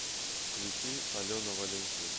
включи алена валенсия